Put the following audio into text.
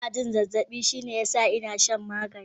Ina jin zazzabi shine ya sa ina shan magani.